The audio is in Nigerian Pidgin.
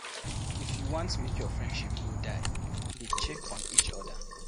If you want make your friendship no die, dey check on eachother.